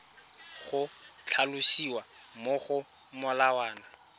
go tlhalosiwa mo go molawana